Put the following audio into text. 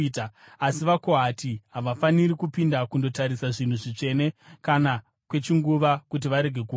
Asi vaKohati havafaniri kupinda kundotarisa zvinhu zvitsvene, kana kwechinguva, kuti varege kufa.”